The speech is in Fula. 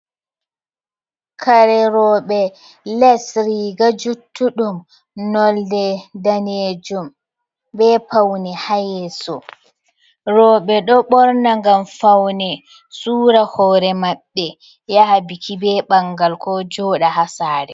Kare rooɓe, lees, riiga juuttuɗum noonde daneejum, be fawne ha yeeso. Rooɓe ɗo ɓorna ngam fawne, suura hoore maɓɓe, yaha biki, be ɓangal, ko jooɗa ha saare.